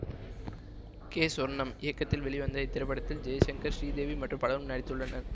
K Sornam இயக்கத்தில் வெளிவந்த இத்திரைப்படத்தில் ஜெய்சங்கர் ஸ்ரீதேவி மற்றும் பலரும் நடித்துள்ளனர்